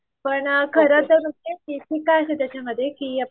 पण खरंचच काय असते त्याच्यामध्ये की